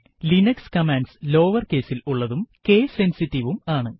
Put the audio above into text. Linux commands lower caseൽ ഉള്ളതും case sensitiveവും ആണ്